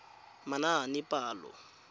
manaanepalo